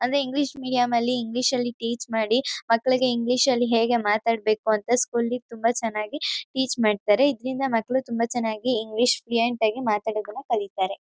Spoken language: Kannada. ಅಂದ್ರೆ ಇಂಗ್ಲೀಷ್ ಮೀಡಿಯಂ ಅಲ್ಲಿ ಇಂಗ್ಲೀಷ್ ನಲ್ಲಿ ಟೀಚ್ ಮಾಡಿ ಮಕ್ಳಿಗೆ ಇಂಗ್ಲೀಷ್ ನಲ್ಲಿ ಹೇಗೆ ಮಾತಾಡ್ಬೇಕು ಅಂತ ಸ್ಕೂಲಿ ತುಂಬಾ ಚೆನ್ನಾಗಿ ಟೀಚ್ ಮಾಡ್ತಾರೆ ಇದ್ರಿಂದ ಮಕ್ಳು ತುಂಬಾ ಚೆನ್ನಾಗಿ ಇಂಗ್ಲೀಷ್ ಫ್ಲುಯೆಂಟ್ ಆಗಿ ಮಾತಾಡೋದನ್ನ ಕಲೀತಾರೆ.